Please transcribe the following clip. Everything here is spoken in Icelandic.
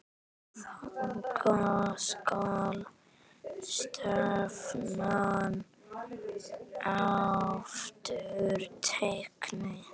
Þangað skal stefnan aftur tekin.